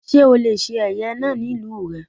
Sé ó le se ẹ̀yẹ náà ní ìlú rè?